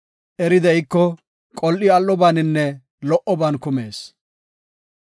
Eri de7iko, qol7i al7obaaninne lo77oban kumees.